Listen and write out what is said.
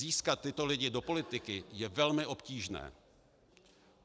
Získat tyto lidi do politiky je velmi obtížné.